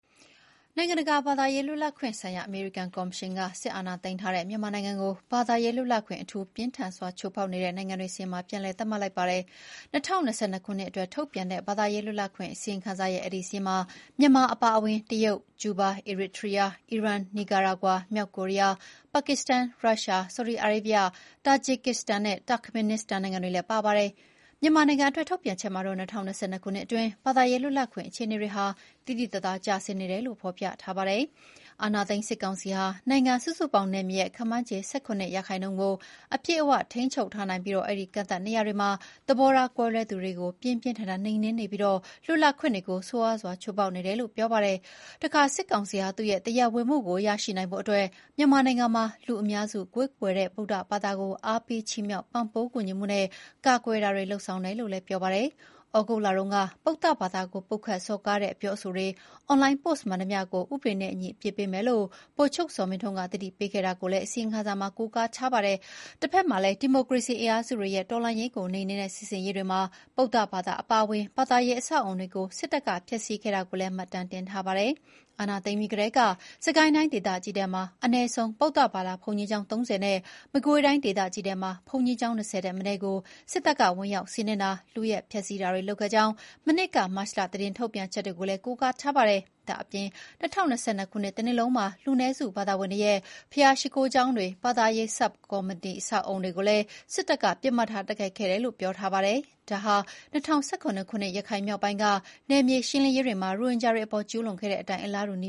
နိုင်ငံတကာ ဘာသာရေးလွတ်လပ်ခွင့်ဆိုင်ရာ အမေရိကန်ကော်မရှင်က စစ်အာဏာသိမ်းထားတဲ့ မြန်မာနိုင်ငံကို ဘာသာရေးလွတ်လပ်ခွင့် “အထူး ပြင်းထန်စွာ” ချိုးဖောက်နေတဲ့ နိုင်ငံတွေစာရင်းမှာ ပြန်လည် သတ်မှတ်လိုက်ပါတယ်။ ၂၀၂၂ ခုနှစ်အတွက်ထုတ်ပြန်တဲ့ ဘာသာရေးလွတ်လပ်ခွင့်အစီရင်ခံစာရဲ့ အဲဒီစာရင်းမှာ မြန်မာအပါအဝင် တရုတ်၊ ကျူးဘား၊ အီရစ်ထရီးယား၊ အီရန်၊ နီကာရာဂွာ၊ မြောက်ကိုရီးယား၊ ပါကစ္စတန်၊ ရုရှား၊ ဆော်ဒီအာရေဗျ၊ တာဂျစ်ကစ္စတန်နဲ့ တာ့ခ်မင်နစ္စတန်နိုင်ငံတွေလည်း ပါဝင်ပါတယ်။ မြန်မာနိုင်ငံအတွက်ထုတ်ပြန်ချက်မှာ ၂၀၂၂ ခုနှစ်အတွင်း ဘာသာရေးလွတ်လပ်ခွင့်အခြေအနေတွေဟာ သိသိသာသာကျဆင်းနေတယ်လို့ ဖော်ပြထားပါတယ်။ အာဏာသိမ်း စစ်ကောင်စီဟာ နိုင်ငံစုစုပေါင်းနယ်မြေရဲ့ ခန့်မှန်းခြေ ၁၇ ရာခိုင်နှုန်းကို အပြည့်အဝထိန်းချုပ်ထားပြီး အဲဒီ ကန့်သတ်နေရာတွေမှာ သဘောထားကွဲလွဲသူတွေကို ပြင်းပြင်းထန်ထန် နှိမ်နင်းနေပြီး လွတ်လပ်ခွင့်တွေကို ဆိုးဆိုးရွားရွား ချိုးဖောက်နေတယ်လို့ ဆိုပါတယ်။ တခါ စစ်ကောင်စီဟာ သူ့ရဲ့တရားဝင်မှုကို ရရှိနိုင်ဖို့အတွက် မြန်မာနိုင်ငံမှာ လူအများစု ကိုးကွယ်တဲ့ဗုဒ္ဓဘာသာကို အားပေးချီးမြှောက်ပံ့ပိုးကူညီမှုနဲ့ ကာကွယ်တာတွေလုပ်ဆောင်တယ်လို့ ပြောပါတယ်။ သြဂုတ်လတုန်းက ဗုဒ္ဓဘာသာကို ပုတ်ခတ်စော်ကားတဲ့အပြောအဆိုတွေ၊ အွန်လိုင်းပို့စ်မှန်သမျှကို ဥပဒေနဲ့အညီအပြစ်ပေးမယ်လို့ ဗိုလ်ချုပ်ဇော်မင်းထွန်းက သတိပေးခဲ့တာကို အစီရင်ခံစာမှာ ကိုးကားထားပါတယ်။ တဖက်မှာလည်း ဒီမိုကရေစီ အင်အားစုတွေရဲ့ တော်လှန်ရေးကိုနှိမ်နင်းတဲ့ စစ်ဆင်ရေးတွေမှာ ဗုဒ္ဓဘာသာအပါအဝင် ဘာသာရေးအဆောက်အအုံတွေကို စစ်တပ်ကဖျက်ဆီးခဲ့တာတွေကိုလည်း မှတ်တမ်းတင်ထားပါတယ်။ အာဏာသိမ်းပြီးကတည်းက စစ်ကိုင်းတိုင်း ဒေသကြီးထဲမှာ အနည်းဆုံး ဗုဒ္ဓဘာသာဘုန်းကြီးကျောင်း ၃၀ နဲ့ မကွေးတိုင်းဒေသကြီးထဲမှာ ဘုန်းကြီးကျောင်း ၂၀ ထက်မနည်းကို စစ်တပ်က ဝင်ရောက်စီးနင်းတာ၊ လုယက် ဖျက်ဆီးတာတွေလုပ်ခဲ့ကြောင်း မနှစ်က မတ်လ သတင်းထုတ်ပြန်ချက်တွေကိုလည်း ကိုးကားထားပါတယ်။ ဒါ့ပြင် ၂၀၂၂ ခုနှစ် တနှစ်လုံးမှာ လူနည်းစုဘာသာဝင်တွေရဲ့ ဘုရားရှိခိုးကျောင်းတွေ၊ ဘာသာရေးနဲ့ဆက်စပ်တဲ့အဆောက်အအုံတွေကိုလည်း စစ်တပ်က ပစ်မှတ်ထား က်ခိုက်ခဲ့တယ်လို့ ဆိုပါတယ်။ ဒါဟာ ၂၀၁၇ ခုနှစ် ရခိုင်မြောက်ပိုင်းက နယ်မြေရှင်းလင်းရေးတွေမှာ ရိုဟင်ဂျာတွေအပေါ်ကျူးလွန်ခဲ့တဲ့အတိုင်း အလားတူန